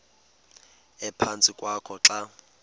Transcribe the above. ephantsi kwakho xa